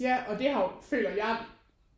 Ja og det har jo føler jeg